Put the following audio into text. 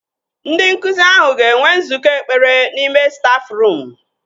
Ndị nkụzi ahụ ga-enwe nzukọ ekpere n'ime stafruum